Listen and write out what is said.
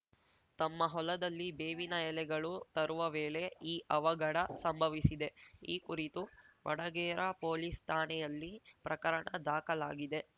ತಮ್ಮ ಹೊಲದಲ್ಲಿ ಬೇವಿನ ಎಲೆಗಳು ತರುವ ವೇಳೆ ಈ ಅವಘಡ ಸಂಭವಿಸಿದೆ ಈ ಕುರಿತು ವಡಗೇರಾ ಪೊಲೀಸ್‌ ಠಾಣೆಯಲ್ಲಿ ಪ್ರಕರಣ ದಾಖಲಾಗಿದೆ